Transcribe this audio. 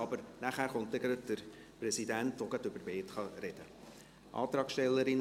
Danach kommt der Präsident an die Reihe, der dann gleich über beide sprechen kann.